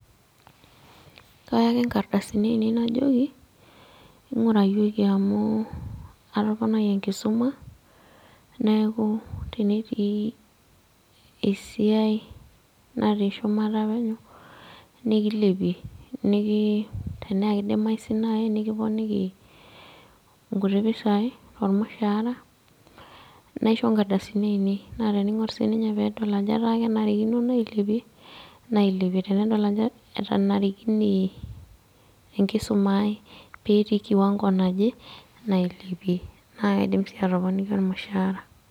Kaya ake inkarasini ainei najoki ngurayioki amu atoponayie enkisuma , neeku tenetii esiai natii shumata penyo nikilepie niki, tenaa kidimayu sii nai nikiponiki nkuti pisai tormushaara , naisho nkardasini ainei . Naa teningor sii ninye pedol ajo etaa kenarikino nailepie , nailepie , tenedol ajo etanarikine enkisuma petii kiwango naje , nailepie naa kaidim sii atoponiki ormushaara.